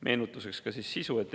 Meenutuseks eelnõu sisust.